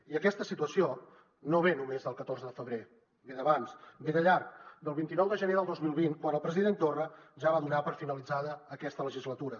i aquesta situació no ve només del catorze de febrer ve d’abans ve de llarg del vint nou de gener del dos mil vint quan el president torra ja va donar per finalitzada aquesta legislatura